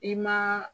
I ma